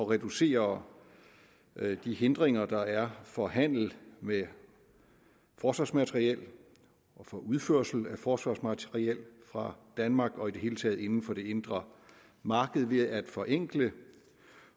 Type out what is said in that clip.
reducere de hindringer der er for handel med forsvarsmateriel og for udførsel af forsvarsmateriel fra danmark og i det hele taget inden for det indre marked ved at forenkle